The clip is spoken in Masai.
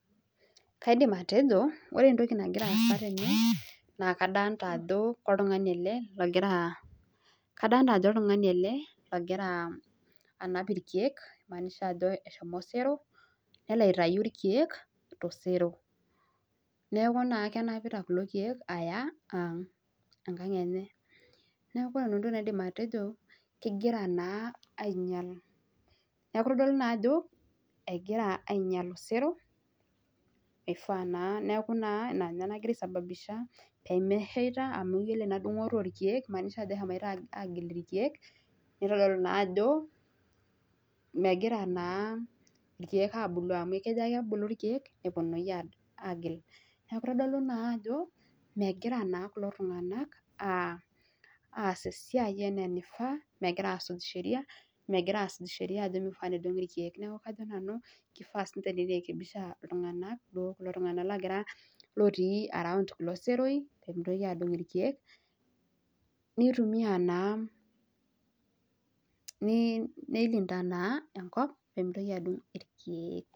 Kaidim atejo, ore entoki nagira aasa tene naa kadolita ajo oltung'ani ele ogira, kadolita ajo oltung'ani ele ogira anap irkiek neimaanisha ajo eshomo osero nelo aitayu irkiek tosero. Neeku naa kenapita kulo kiek aya ang', enkang' enye. Neeku ore nanu entoki naidim atejo kegira naa ainyal. Neeku itodolu naa ajo egira ainyal osero, ifaa naa neeku ina nagira ai sababisha peemesheita amu iyiolo ena dung'oto oorkiek eimaanisha ajo eshomoita agil irkiek nitodolu naa ajo megira naa irkiek abulu irkiek amu kejo ake ebulu irkiek nepwonunui aagil. Neeku eitodulu ajo megira naa kulo tung'anak aas esiai enaa enifaa, megira aasuj sheria, megira aasuj sheria ajo meifaa nedung'i irkiek. Neeku kajo nanu kifaa ninche neirekebisha iltung'anak naa duo kulo tung'anak lootii around kulo seroi peemitoki adung' irkiek neitumia naa, neilinda naa enkop peemeitoki adung' irkiek